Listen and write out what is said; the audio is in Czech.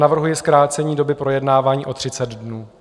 Navrhuji zkrácení doby projednávání o 30 dnů.